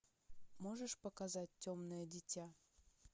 можешь показать темное дитя